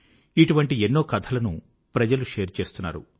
ఇటువంటి ఎన్నో కథలను ప్రజలు షేర్ చేస్తున్నారు